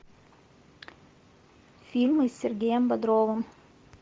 фильмы с сергеем бодровым